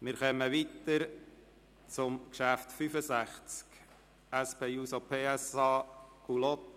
Wir kommen zum Traktandum 65, einem Postulat der SP-JUSO-PSA-Fraktion und